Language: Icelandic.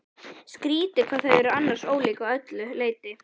Skrýtið hvað þau eru annars ólík að öllu leyti.